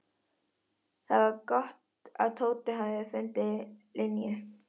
Það var samt gott að Tóti hafði fundið Linju.